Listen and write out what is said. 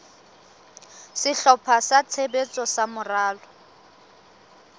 sehlopha sa tshebetso sa moralo